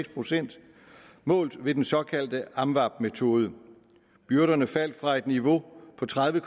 procent målt ved den såkaldte amvab metode byrderne faldt fra et niveau på tredive